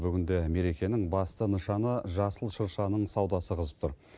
бүгінде мерекенің басты нышаны жасыл шыршаның саудасы қызып тұр